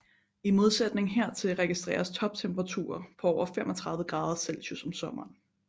I modsætning hertil registreres toptemperaturer på over 35 grader celsius om sommeren